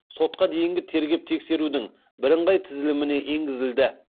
сотқа дейінгі тергеп тексерудің бірыңғай тізіліміне енгізілді